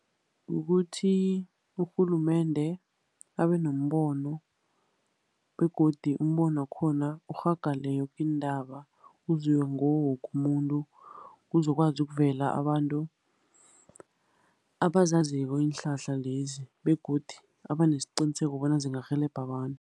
Kukuthi urhulumende abe nombono, begodu umbono wakhona urhagale yoke indawo, uzwe ngiwo woke umuntu. Kuzokwazi ukuvela abantu abazaziko iinhlahla lezi, begodu abanesiqiniseko bona zingarhelebha abantu.